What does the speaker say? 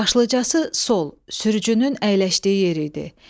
Başlıcası sol, sürücünün əyləşdiyi yer idi.